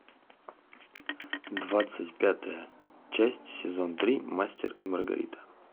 двадцать пятая часть сезон три мастер и маргарита